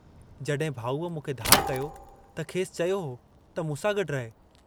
जहिं भाऊअ मूंखे धार कयो त खेसि चयो हो त मूंसां गड्डु रहु।